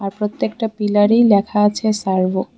প্রত্যেকটা পিলারেই লেখা আছে সার্ভো ।